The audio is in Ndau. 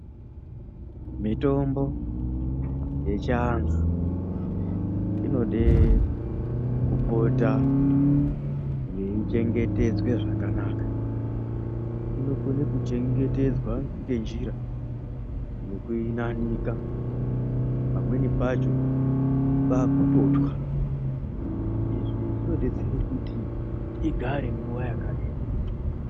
Mitombo yechivantu inode kupota yeichengetedza zvakanaka inokone kuchengetedzwa ngenjira yekuinanika pamweni pacho kwakutotwa, izvi zvinodetsere kuti igare nguwa yakareba.